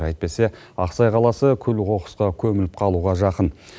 әйтпесе ақсай қаласы күл қоқысқа көміліп қалуға жақын